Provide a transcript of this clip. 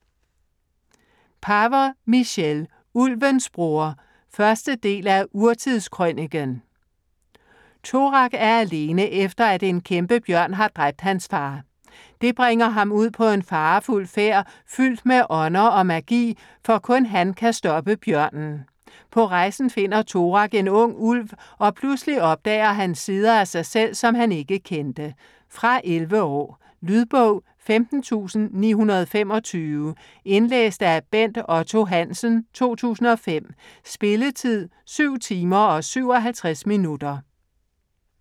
Paver, Michelle: Ulvens bror 1. del af Urtidskrøniken. Torak er alene, efter at en kæmpebjørn har dræbt hans far. Det bringer ham ud på en farefuld færd fyldt med ånder og magi, for kun han kan stoppe bjørnen. På rejsen finder Torak en ung ulv, og pludselig opdager han sider af sig selv, som han ikke kendte. Fra 11 år. Lydbog 15925 Indlæst af Bent Otto Hansen, 2005. Spilletid: 7 timer, 57 minutter.